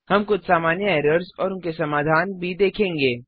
हम कुछ सामान्य एरर्स और उनके समाधान भी देखेंगे